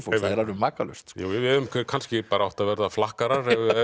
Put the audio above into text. er alveg makalaust við hefðum kannski átt að verða flakkarar ef